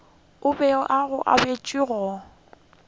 a bego a etšwa go